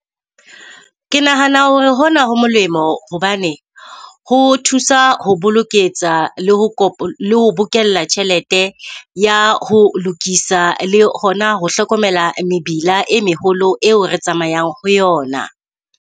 Ke nahana hore hona ho molemo hobane ho thusa ho boloketsa le ho bokella tjhelete ya ho lokisa le hona ho hlokomela mebila e meholo eo re tsamayang ho yona.